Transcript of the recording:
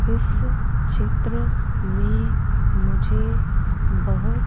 इस चित्र में मुझे बहुत--